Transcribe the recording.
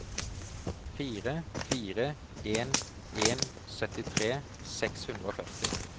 fire fire en en syttitre seks hundre og førti